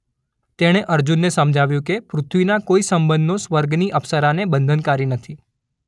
તેણે અર્જુનને સમજાવ્યું કે પૃથ્વીના કોઇ સંબંધો સ્વર્ગની અપ્સરાને બંધનકારી નથી.